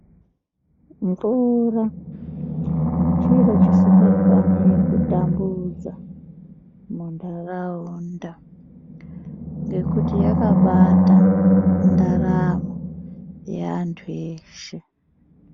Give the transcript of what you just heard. Mvura chiro chisikafaniri kutambudza muntaraunda ngekuti yakabata ndaramo yeantu eshe.